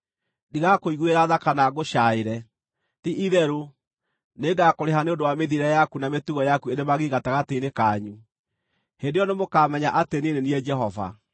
Ndigakũiguĩra tha kana ngũcaaĩre; ti-itherũ, nĩngakũrĩha nĩ ũndũ wa mĩthiĩre yaku na mĩtugo yaku ĩrĩ magigi gatagatĩ-inĩ kanyu. Hĩndĩ ĩyo nĩmũkamenya atĩ niĩ nĩ niĩ Jehova.